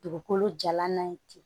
Dugukolo jalan na ye ten